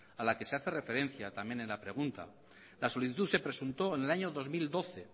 a la que se hace referencia también en la pregunta la solicitud se presentó en el año dos mil doce